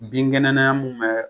Bin kɛnɛnaya mun bɛ